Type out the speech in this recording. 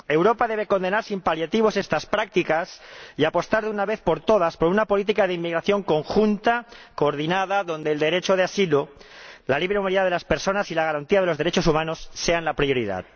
Europa debe condenar sin paliativos estas prácticas y apostar, de una vez por todas, por una política de inmigración conjunta, coordinada, donde el derecho de asilo, la libre movilidad de las personas y la garantía de los derechos humanos sean la prioridad.